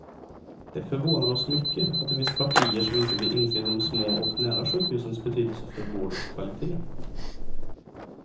Det förvånar oss mycket att det finns partier som inte vill inse de små och nära sjukhusens betydelse för vårdens kvalité.